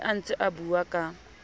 a ne a ntseabua ka